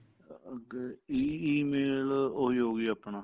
ਅੱਗੇ EMAIL ਉਹੀ ਹੋਗੀ ਆਪਣਾ